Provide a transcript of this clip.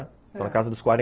Estão na casa dos quaren ãh.